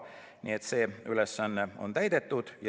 Nii et see ülesanne on täidetud.